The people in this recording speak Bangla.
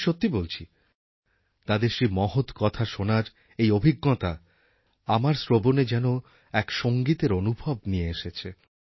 আমি সত্যি বলছি তাঁদের সেই মহৎ কথা শোনার এই অভিজ্ঞতা আমার শ্রবণে যেন এক সঙ্গীতের অনুভব নিয়ে এসেছে